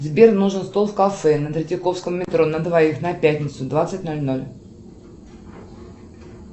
сбер нужен стол в кафе на третьяковском метро на двоих на пятницу двадцать ноль ноль